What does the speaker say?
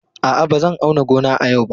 A'a, ba zan auna gona a yau ba.